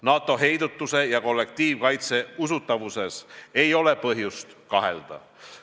NATO heidutuse ja kollektiivkaitse usutavuses ei ole põhjust kahelda.